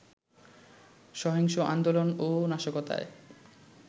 সহিংস আন্দোলন ও নাশকতায়